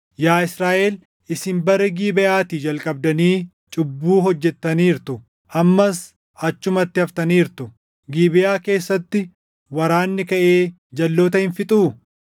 “Yaa Israaʼel isin bara Gibeʼaatii jalqabdanii // cubbuu hojjettaniirtu; ammas achumatti haftaniirtu. Gibeʼaa keessatti waraanni kaʼee jalʼoota hin fixuu?